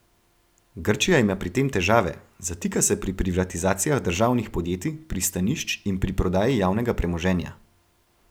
Grčija ima pri tem težave, zatika se pri privatizacijah državnih podjetij, pristanišč in pri prodaji javnega premoženja.